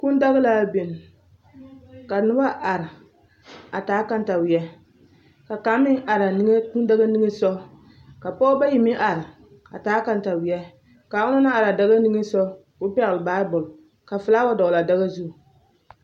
Kūūdaga la biŋ ka noba are a taa kataweɛ ka kaŋ meŋ are a kūūdaga niŋe soɡa ka pɔɔbɔ bayi meŋ are a taa kataweɛ ka onaŋ na are a daɡa niŋe soɡa ka o pɛɡele baabuli ka felaawɛ dɔɡele a daɡa zu.